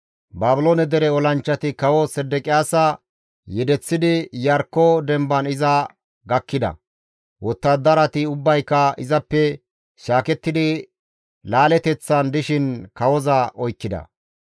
Baabiloone dere olanchchati kawo Sedeqiyaasa yedeththidi Iyarkko demban iza gakkida; wottadarati ubbayka izappe shaakettidi laaleteththan dishin kawoza oykkida.